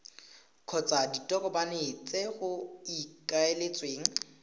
kgotsa ditokomane tse go ikaeletsweng